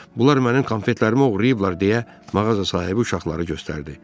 Bunlar mənim konfetlərimi oğurlayıblar deyə mağaza sahibi uşaqları göstərdi.